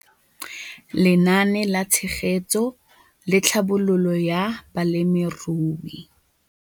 Lenaane la Tshegetso le Tlhabololo ya Balemirui